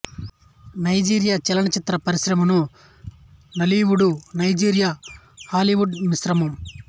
Nigeria చలన చిత్ర పరిశ్రమను నాలీవుడు నైజీరియా హాలీవుడు మిశ్రమం